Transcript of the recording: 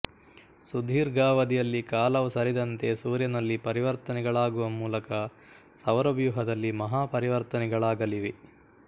ಸುದೀರ್ಘಾವಧಿಯಲ್ಲಿ ಕಾಲವು ಸರಿದಂತೆ ಸೂರ್ಯನಲ್ಲಿ ಪರಿವರ್ತನೆಗಳಾಗುವ ಮೂಲಕ ಸೌರವ್ಯೂಹದಲ್ಲಿ ಮಹಾ ಪರಿವರ್ತನೆಗಳಾಗಲಿವೆ